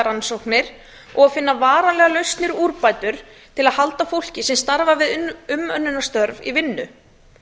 rannsóknir og að finna varanlegar lausnir og úrbætur til að halda fólki sem starfar við umönnunarstörf í vinnu